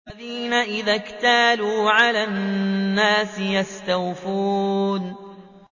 الَّذِينَ إِذَا اكْتَالُوا عَلَى النَّاسِ يَسْتَوْفُونَ